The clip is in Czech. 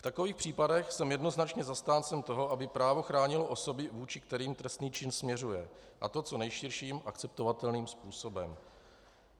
V takových případech jsem jednoznačně zastáncem toho, aby právo chránilo osoby, vůči kterým trestný čin směřuje, a to co nejširším akceptovatelným způsobem.